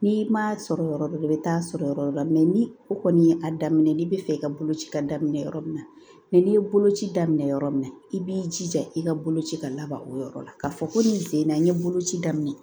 N'i ma sɔrɔ yɔrɔ dɔ la i bɛ taa sɔrɔ yɔrɔ dɔ ni o kɔni ye a daminɛ n'i bɛ fɛ i ka boloci ka daminɛ yɔrɔ min na n'i ye boloci daminɛ yɔrɔ min na i b'i jija i ka boloci ka laban o yɔrɔ la k'a fɔ ko nin sen in na n ye boloci daminɛ